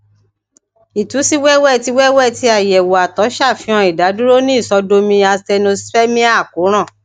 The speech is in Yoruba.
itu si wẹwẹ ti wẹwẹ ti ayewo àtọ safihan idaduro ni isodomi asthenospermia akoran